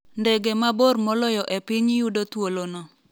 Ndege mabor moloyo e piny yudo thuolo no